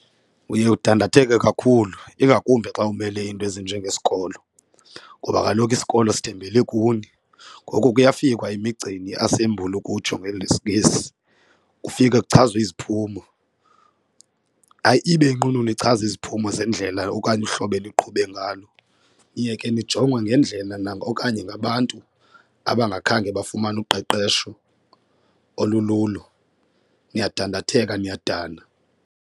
Uye udandatheka kakhulu ingakumbi xa umele iinto ezinjengesikolo ngoba kaloku isikolo sithembele kuni. Ngoku kuyafikwa emigceni i-assembly ukutsho ngelesiNgesi, kufike kuchazwe iziphumo hayi ibe inqununu ichaza iziphumo zendlela okanye uhlobo eniqhuba ngalo. Niye ke nijongwe ngendlela okanye ngabantu abangakhange bafumane uqeqesho olululo niyadandatheka niyadana.